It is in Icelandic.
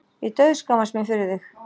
Ég dauðskammast mín fyrir þig.